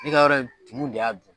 Ne ka yɔrɔ in mun de ya dun.